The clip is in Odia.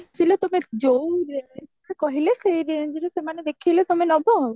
ଆସିଲେ ତମେ ଯୋଉଁ range ର କହିଲେ ସେଇ range ର ସେମାନେ ଦେଖେଇଲେ ତମେ ନବ ଆଉ